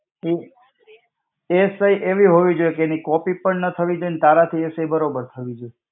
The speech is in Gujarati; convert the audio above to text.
એ, એ સહી એવી હોવી જોઈએ તેની copy પણ ના થવી જોઈએ અને તારાથી એ સહી બરોબર થવી જોઈએ.